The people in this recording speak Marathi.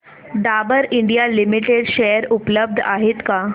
डाबर इंडिया लिमिटेड शेअर उपलब्ध आहेत का